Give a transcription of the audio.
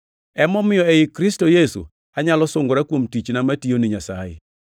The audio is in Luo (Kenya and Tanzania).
Emomiyo ei Kristo Yesu anyalo sungora kuom tichna matiyo ni Nyasaye.